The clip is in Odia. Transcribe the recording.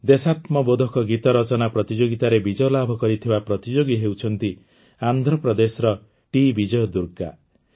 ଦେଶାତ୍ମବୋଧକ ଗୀତ ରଚନା ପ୍ରତିଯୋଗିତାରେ ବିଜୟ ଲାଭ କରିଥିବା ପ୍ରତିଯୋଗୀ ହେଉଛନ୍ତି ଆନ୍ଧ୍ରପ୍ରଦେଶର ଟିବିଜୟ ଦୁର୍ଗା